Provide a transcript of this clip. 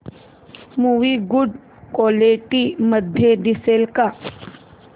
movie good quality मध्ये दिसेल का